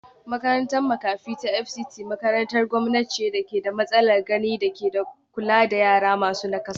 Makarantar makafi ta Fct makarantar gwamnati ce da ke da matsalar gani da ke kula da yara masu nakasa